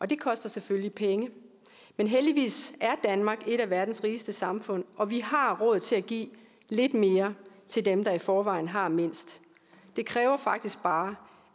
det koster selvfølgelig penge men heldigvis er danmark et af verdens rigeste samfund og vi har råd til at give lidt mere til dem der i forvejen har mindst det kræver faktisk bare